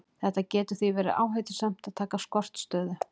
Það getur því verið áhættusamt að taka skortstöðu.